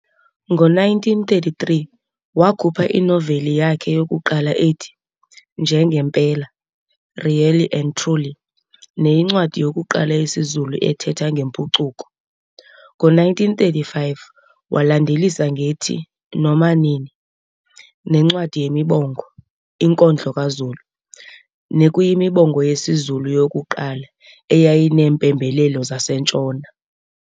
Ngo-1933 wakhupha inoveli yakhe yokuqala ethi Nje nempela, Really and Truly, neyincwadi yokuqala yesiZulu ethetha ngempucuko. Ngo-1935 walandelisa ngethi, Noma nini, nencwadi yemibongo Inkondlo kaZulu, nekuyimibongo yesiZulu yokuqala eyayineempembelelo zaseNtshona.